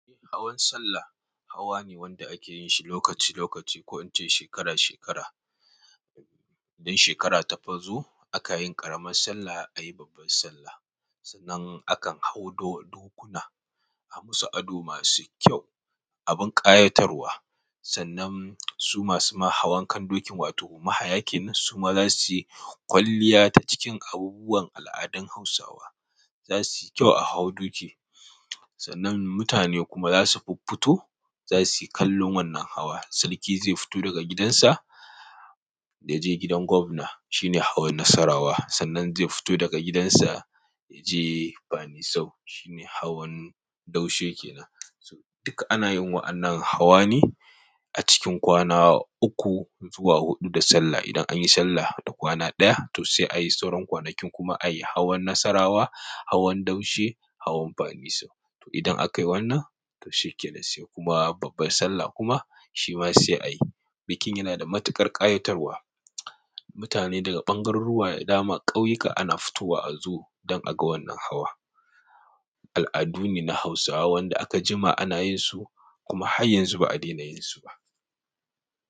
Hawan sallah hawa ne wanda ake yin shi lokaci lokaci ko in ce shekara shekara. Idan shekara ta fazo aka yin ƙaramar sallah aka yi babbar sallah, sannan a kan hau dokuna a musu ado masu kyau, abin ƙayatarwa. Sannan su masu ma hawan kan dokin wato mahayakin su ma za su yi kwalliya ta cikin abubuwan al'adan Hausawa. Za su yi kyau a hau doki sannan mutane kuma za su fuffito, za su yi kallon wannan hawa. Sarki zai fito daga gidansa ya je gidan gwamna, shine hawan Nassarawa. Sannan zai fito daga gidansa ya je Banisau, shine hawan Daushe ke nan. Duk ana yin wa'annan hawa ne a cikin kwana uku zuwa huɗu da Sallah. Idan anyi Sallah da kwana ɗaya to sai ayi sauran kwanakin kuma ayi hawan Nassarawa, hawan Daushe, hawan Banisau. To idan aka yi wannan to shikenan sai kuma babbar Sallah kuma shi ma sai ayi. Bikin yana da matuƙar ƙayatarwa. Mutane daga bangaroruwa dama ƙauyuka ana futowa azo dan aga wannan hawa al'adu ne na Hausawa wanda aka jima ana yin su kuma har yanzu ba a dena yin su ba.